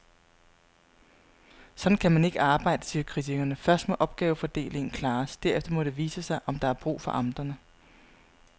Sådan kan man ikke arbejde, siger kritikerne, først må opgavefordelingen klares, derefter må det vise sig, om der er brug for amterne.